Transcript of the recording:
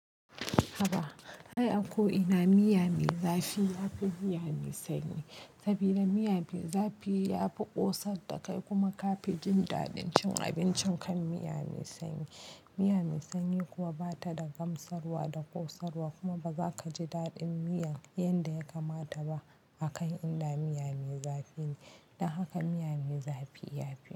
Haba, ai a ko ina miya mai zafi ya fi miya mai sanyi, sabida miya mai zafi ya fi ƙosar da kai kuma ka fi jin daɗin cin abincin kan miya mai sanyi. Miya mai sanyi kuwa ba ta da gamsarwa da ƙosarwa kuma ba za ka ji daɗin miyan yanda ya kamata ba akan inda miya mai zafi ne. Don haka miya mai zafi ya fi.